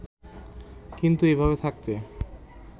কিন্তু এভাবে থাকতে